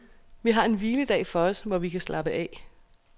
Vi har en hviledag for os, hvor vi kan slappe af.